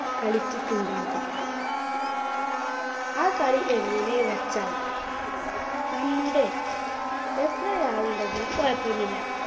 കളിച്ചിട്ടുണ്ടാകും. ആ കളി എങ്ങനെയെന്നുവെച്ചാൽ നമ്മുടെ, എത്ര ആൾ ഉണ്ടെങ്കിലും കുഴപ്പമില്ല.